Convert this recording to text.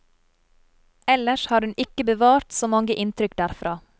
Ellers har hun ikke bevart så mange inntrykk derfra.